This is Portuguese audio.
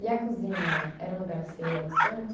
E a cozinha era um lugar que você ia bastante?